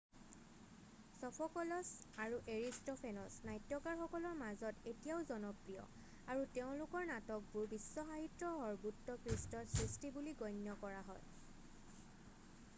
Sophocles আৰু Aristophanes নাট্যকাৰসকলৰ মাজত এতিয়াও জনপ্ৰিয় আৰু তেওঁলোকৰ নাটকবোৰ বিশ্ব সাহিত্যৰ সৰ্বোৎকৃষ্ট সৃষ্টি বুলি গণ্য কৰা হয়